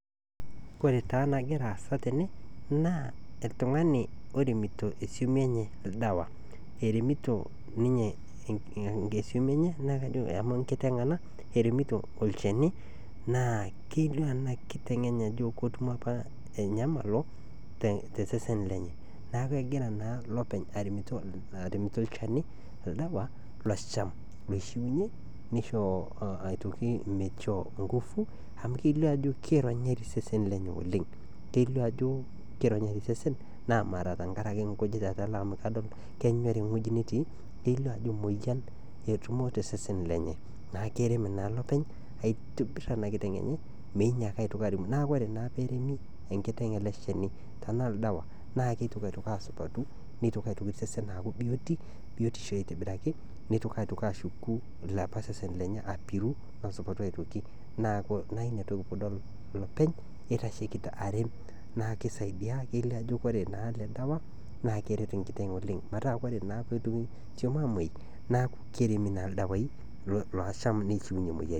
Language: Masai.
Ore taa nagira aasa tene naa iltungani oremito isumi enye naa kelio enakiteng enye ajo enoto apa enyamalo tesesen lenye niaku kegira na ilopeny aremito ilchani loishiunyie nisho aitoki inkufu amu kelio ajo kemena osesen lenye oleng na mara mme nkujit etala amu kenyor wueji netii , kelio ajo moyian etutumo tosesen lenye naa keremnaa ilopeny aitobir enakiteng enye neitoki naa sesen atoki asupatu.